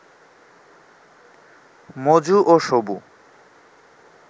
মজু ও সবু